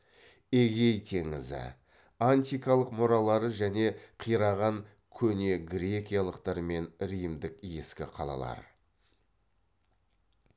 эгей теңізі антикалық мұралары және қираған көнегрекиялықтар мен римдік ескі қалалар